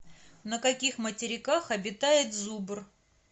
на каких материках обитает зубр